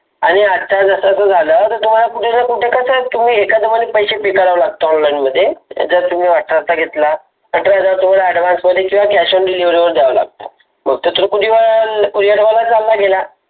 आणि आता जस कसं झालं. तुम्हाला कुठ नाही कुठ कस पैसे पे कराव लागत online मध्ये आच्यात तुम्ही अठरा चा घेतला, अठरा हजार तुम्हाला Advance मध्ये किंवा Cash on delivery द्यावे लागत. चालला गेला.